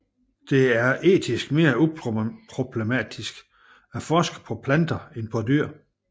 Det er etisk mere uproblematisk at forske på planter end på dyr